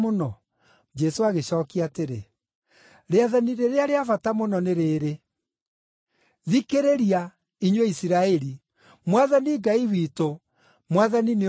Jesũ agĩcookia atĩrĩ, “Rĩathani rĩrĩa rĩa bata mũno nĩ rĩĩrĩ: ‘Thikĩrĩria, inyuĩ Isiraeli, Mwathani Ngai witũ, Mwathani nĩ ũmwe.